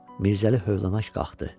Mirzəli hövlənak qalxdı.